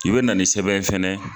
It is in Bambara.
I be na ni sɛbɛn ye fɛnɛ